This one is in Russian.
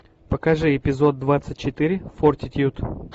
покажи эпизод двадцать четыре фортитьюд